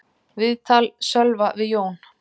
Viðtal Sölva við Jón